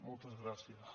moltes gràcies